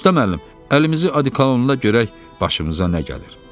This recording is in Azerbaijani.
Usta müəllim, əlimizi odikolonla görək başımıza nə gəlir.